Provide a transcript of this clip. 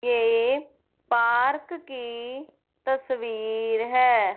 ये पार्क की तस्वीर है।